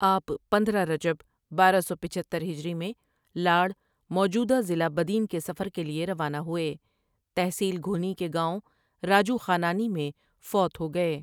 آپ پندرہ رجب بارہ سو پچہتر ہجری میں لاڑ موجودہ؎ضلع بدین کے سفر کے لیے روانہ ہوئے تحصیل گھونی کے گاؤں راجو خانانی میں فوت ہو گئے ۔